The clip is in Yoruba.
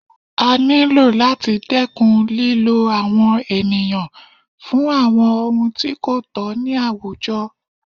A ní lò láti dẹ́kun lílo àwọn ènìyàn fún àwọn ohun tí kò tọ̀ ní àwùjọ